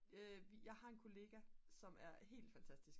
jeg har en kollega som er helt fantastisk